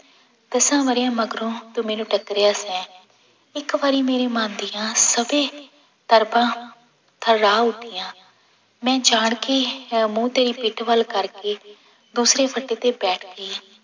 ਦਸਾਂ ਵਰ੍ਹਿਆਂ ਮਗਰੋਂ ਤੂੰ ਮੈਨੂੰ ਟੱਕਰਾ ਸੈਂ, ਇੱਕ ਵਾਰੀ ਮੇਰੀ ਮਨ ਦੀਆਂ ਤਰਬਾਂ ਥਰਾਹ ਉੱਠੀਆਂ, ਮੈਂ ਜਾਣ ਕੇ ਅਹ ਮੂੰਹ ਤੇਰੀ ਪਿੱਠ ਵੱਲ ਕਰਕੇ ਦੂਸਰੀ ਫੱਟੀ ਤੇ ਬੈਠ ਗਈ।